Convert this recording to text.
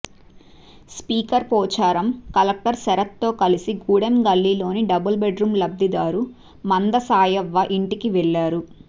speaker Pocharam collector శరత్తో కలిసి గూడెం గల్లీలోని డబుల్ బెడ్రూం లబ్ధిదారు మంద సాయవ్వ ఇంటికి వెళ్లారు